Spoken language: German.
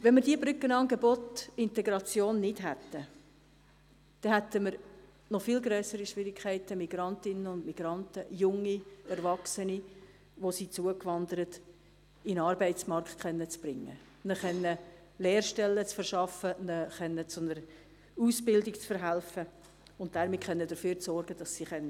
Hätten wir diese Brückenangebote Integration nicht, hätten wir noch viel grössere Schwierigkeiten, Migrantinnen und Migranten, junge Erwachsene, die zugewandert sind, in den Arbeitsmarkt bringen, ihnen Lehrstellen verschaffen, ihnen zu einer Ausbildung verhelfen zu können und damit dafür zu sorgen, dass sie arbeiten können.